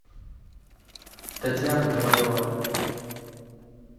татьяна ковалева